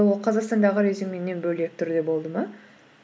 ол қазақстандағы резюмеңнен бөлек түрде болды ма